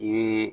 Ni